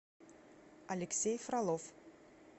алексей фролов